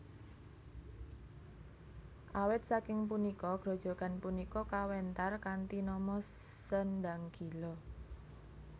Awit saking punika grojogan punika kawéntar kanthi nama Sendang Gila